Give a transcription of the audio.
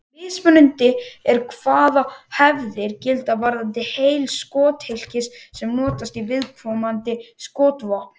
Mismunandi er hvaða hefðir gilda varðandi heiti skothylkisins sem notast í viðkomandi skotvopn.